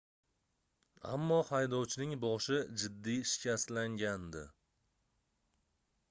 ammo haydovchining boshi jiddiy shikastlangandi